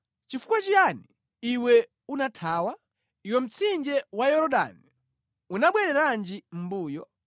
Nʼchifukwa chiyani iwe unathawa? iwe mtsinje wa Yorodani unabwereranji mʼmbuyo?